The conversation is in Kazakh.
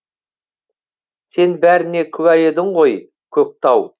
сен бәріне куә едің ғой көк тау